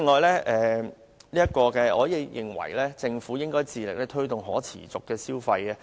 另外，我認為政府應致力推動可持續消費。